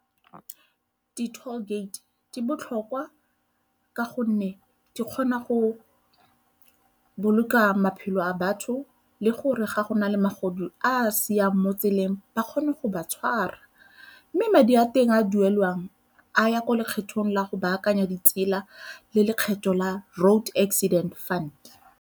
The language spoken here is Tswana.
Di-toll-gate di botlhokwa ka gonne di kgona go boloka maphelo a batho le gore ga go na le magodu a siang mo tseleng ba kgone go ba tshwara, mme madi a teng a duelwang a ya ko lekgethong la go baakanya ditsela le lekgetho la Road Accident Fund.